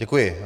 Děkuji.